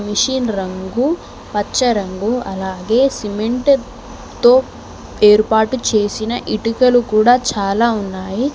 Machine రంగు పచ్చ రంగు అలాగే సిమెంటు తో ఏర్పాటు చేసిన ఇటుకలు కూడా చాలా ఉన్నాయి.